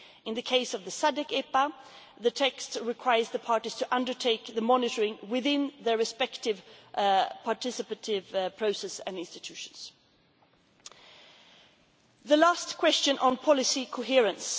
In the case of the SADC EPA, the text requires the parties to undertake the monitoring within their respective participative processes and institutions. The last question was on policy